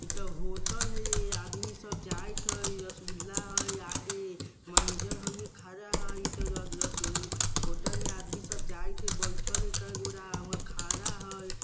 इ तो होटल हई रे आदमी सब जाइत हई रस्गुला हई आगे मैनेजर खड़ा हई होटल में आदमी सब जाइत हई बइठल हई कए गोरा हमर खड़ा हई।